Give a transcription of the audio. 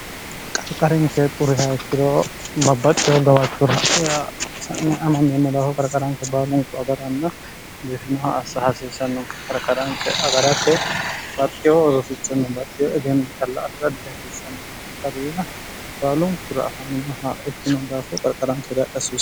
qarqarinke xurihaikkiro babbaxxeho gabaachura y sa'ni ama meemmolaafo qarqaranke baalunku agaranna diifinoha assa hasiissanno qarkaranke agarate baxxiho orrosichunno baxxiho egeenmo calla afi'raddi hasiisanno qarqaruyyaa baalunkura afaminoha ikkino daafoo qarqaranke jaadhasiso